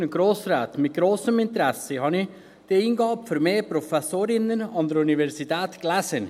Mit grossem Interesse habe ich diese Eingabe für mehr Professorinnen an der Universität gelesen.